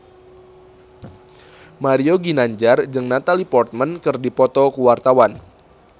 Mario Ginanjar jeung Natalie Portman keur dipoto ku wartawan